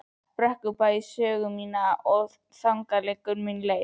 Brekkubæ sögu mína og þangað liggur nú leið mín.